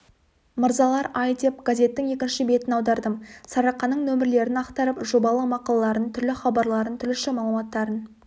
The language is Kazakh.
мырзалар-ай деп газеттің екінші бетін аудардым сарыарқаның нөмірлерін ақтарып жобалы мақалаларын түрлі хабарларын түрліше мағлұматтарын